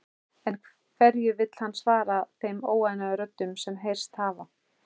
En hverju vill hann svara þeim óánægjuröddum sem heyrst hafa?